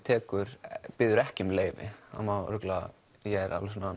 biður ekki um leyfi ég er